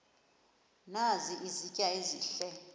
nazi izitya ezihle